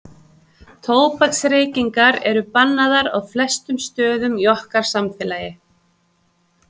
Tóbaksreykingar eru bannaðar á flestum stöðum í okkar samfélagi.